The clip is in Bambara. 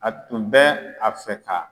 A tun bɛ a fɛ ka